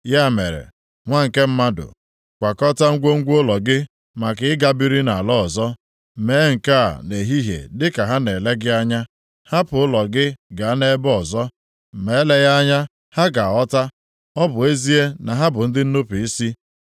“Ya mere, nwa nke mmadụ, kwakọtaa ngwongwo ụlọ gị maka ị ga biri nʼala ọzọ, mee nke a nʼehihie dịka ha na-ele gị anya, hapụ ụlọ gị gaa nʼebe ọzọ. Ma eleghị anya ha ga-aghọta, ọ bụ ezie na ha bụ ndị nnupu isi.